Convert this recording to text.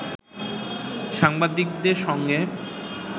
সাংবাদিকদের সঙ্গে